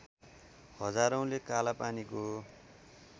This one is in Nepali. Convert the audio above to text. हजारौँले कालापानीको